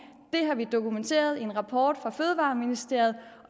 det har vi fået dokumenteret i en rapport fra fødevareministeriet